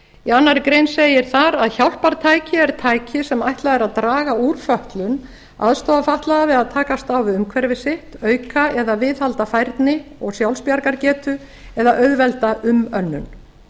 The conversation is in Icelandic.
í annarri grein segir þar að hjálpartæki er tæki sem ætlað er að draga úr fötlun aðstoða fatlaða við takast á við umhverfi sitt auka eða viðhalda færni og sjálfsbjargargetu eða auðvelda umönnun